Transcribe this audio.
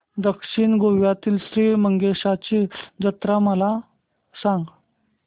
दक्षिण गोव्यातील श्री मंगेशाची जत्रा मला सांग